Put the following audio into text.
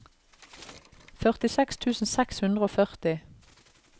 førtiseks tusen seks hundre og førti